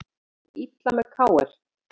Stjarnan fór illa með KR